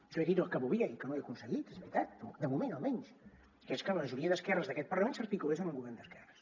jo he dit el que volia i que no he aconseguit és veritat de moment almenys que és que la majoria d’esquerres d’aquest parlament s’articulés en un govern d’esquerres